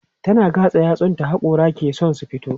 tana gatsa yatsun ta hakora ke San su fito